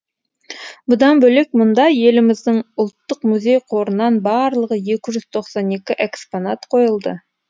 бұдан бөлек мұнда еліміздің ұлттық музей қорынан барлығы екі жүз тоқсан екі экспонат қойылды